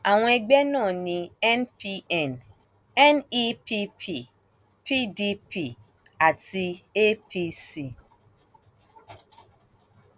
àwọn ẹgbẹ náà ní npn nepp pdp àti apc